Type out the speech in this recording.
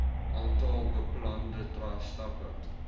aantal beplande stappe